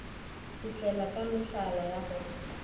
šitlela ka mehlala ya go